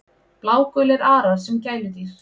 Blágulir arar sem gæludýr